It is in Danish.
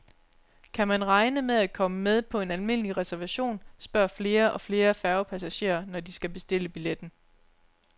Kan man regne med at komme med på en almindelig reservation, spørger flere og flere færgepassagerer, når de skal bestille billetten.